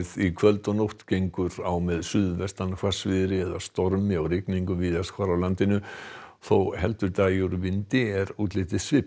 í kvöld og nótt gengur á með suðaustan hvassviðri eða stormi og rigningu víðast hvar á landinu og þó heldur dragi úr vindi er útlitið svipað